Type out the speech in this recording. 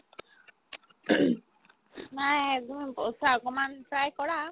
নায়ে একদমে পইচা অকনমান try কৰা